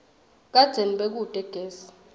kadzeni bekute gesi